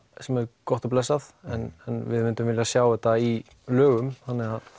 sem er gott og blessað en við myndum vilja sjá þetta í lögum þannig að